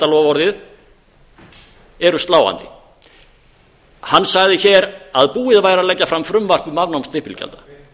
stimpilgjaldaloforðið eru sláandi hann sagði hér að búið væri að leggja fram frumvarp um afnám stimpilgjalda